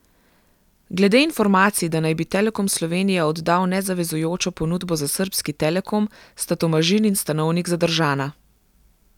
Glede informacij, da naj bi Telekom Slovenije oddal nezavezujočo ponudbo za srbski telekom, sta Tomažin in Stanovnik zadržana.